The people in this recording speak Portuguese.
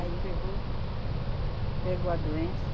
Aí pegou, pegou a doença.